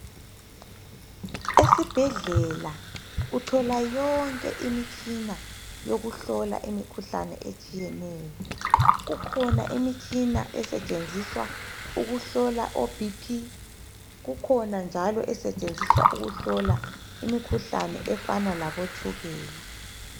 Esibhedlela uthola yonke imitshina yokuhlola imikhuhlane etshiyeneyo , kukhona imitshina esetshenziswa ukuhlola o BP , kukhona njalo esetshenziswa ukuhlola imikhuhlane efana labotshukela